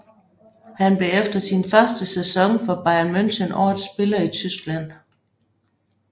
Han blev efter sin første sæson for Bayern München årets spiller i Tyskland